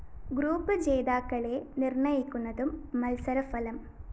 group ജേതാക്കളെ നിര്‍ണയിക്കുന്നതും മത്സരഫലം